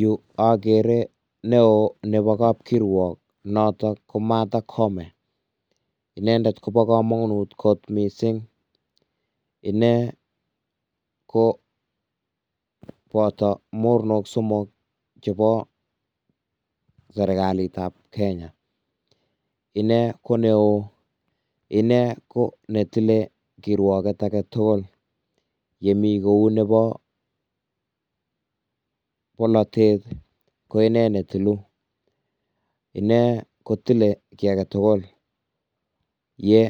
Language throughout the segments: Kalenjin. Yu akere neoo nebo kab kirwok notok ko Martha koome, inendet Kobo kamonut kot mising, inee ko boto mornok somok chebo serikalit ab kenya, inee ko neoo, inee Koo netile kirwoket ake tugul, yemi kou nebo bolotet ko inee me tilu, inee ko tile kii ake tukul ye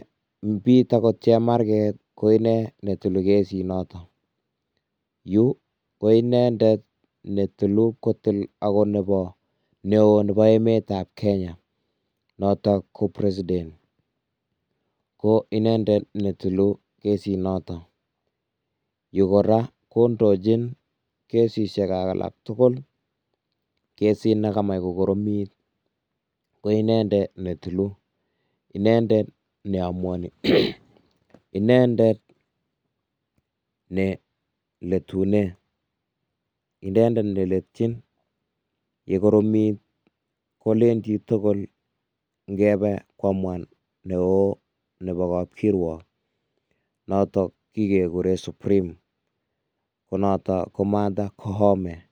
bit akot chemarget ko inee netilu kesit nato, yu ko indendet netilu akot neoo nebo emet ab Kenya notok ko president, ko indendet netilu kesit nato, yu kora kondojin kesisiek alak tugul, kesit ne kamach kokoromit ko indendet netilu, indendet ne amuan, inendet ne letunen, inendet letyin yekotomit, kolen jitugul ingebe koamuan neoo nebo kap kirwok notok kikekuren supreme ko natok ko Martha koome.